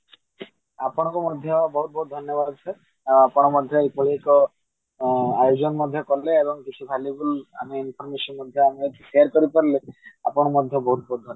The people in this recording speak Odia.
ଆପଣଙ୍କୁ ମଧ୍ୟ ବହୁତ ବହୁତ ଧନ୍ୟବାଦ sir ଆପଣ ମଧ୍ୟ ଏଭଳି ଏକ ଆୟୋଜନ ମଧ୍ୟ କଲେ ଆଉ କିଛି valuable ଆମେ information ମଧ୍ୟ share କରିପାରିଲେ ଆପଣଙ୍କୁ ମଧ୍ୟ ବହୁତ ବହୁତ ଧନ୍ୟବାଦ